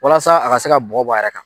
Walasa a ka se ka bɔgɔ bɔ a yɛrɛ kan.